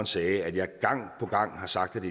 sagde at jeg gang på gang har sagt